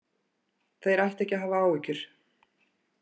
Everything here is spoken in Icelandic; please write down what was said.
Þeir ættu ekki að hafa áhyggjur